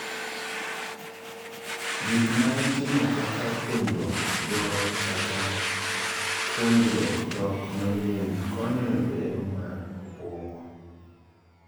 Gik ma itimo kaka puonjruok goro kata puonjruok dhok manyien konyo e bero mar obwongo.